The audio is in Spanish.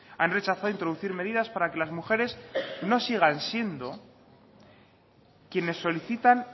han rechazado introducir medidas para que las mujeres no sigan siendo quienes solicitan